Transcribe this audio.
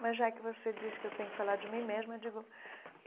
Mas, já que você diz que eu tenho que falar de mim mesma, eu digo.